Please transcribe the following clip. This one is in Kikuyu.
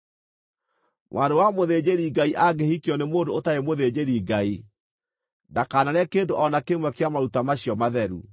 Mwarĩ wa mũthĩnjĩri-Ngai angĩhikio nĩ mũndũ ũtarĩ mũthĩnjĩri-Ngai, ndakanarĩe kĩndũ o na kĩmwe kĩa maruta macio matheru.